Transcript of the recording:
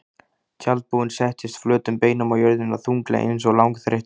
Tjaldbúinn settist flötum beinum á jörðina, þunglega einsog langþreyttur.